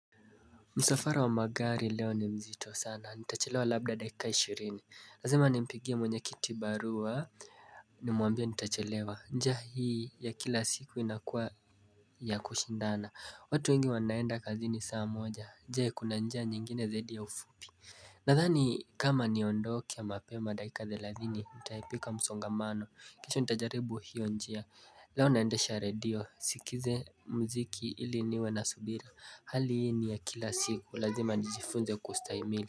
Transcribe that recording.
Msafara wa magari leo ni mzito sana, nitachelewa labda dakika ishirini Lazima nimpigie mwenye kiti barua ni mwambie nitachelewa njia hii ya kila siku inakuwa ya kushindana watu wengi wanaenda kazini saa moja, je kuna njia nyingine zaidi ya ufupi Nadhani kama niondoke ya mapema dakika thelathini, nitaepuka msongamano kesho nitajaribu hiyo njia, leo naendesha redio, sikize mziki ili niwe na subira Hali hii ni ya kila siku lazima nijifunze kustahimili.